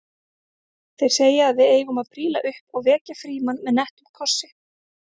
Þeir segja að við eigum að príla upp og vekja Frímann með nettum kossi